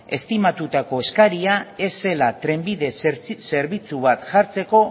estimatutako eskaria ez zela trenbide zerbitzu bat jartzeko